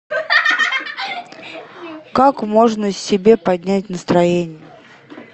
как можно себе поднять настроение